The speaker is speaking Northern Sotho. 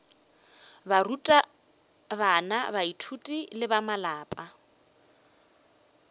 barutabana baithuti le ba malapa